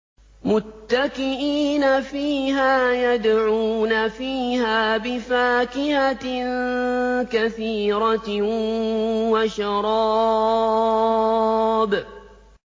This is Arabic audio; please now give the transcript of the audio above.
مُتَّكِئِينَ فِيهَا يَدْعُونَ فِيهَا بِفَاكِهَةٍ كَثِيرَةٍ وَشَرَابٍ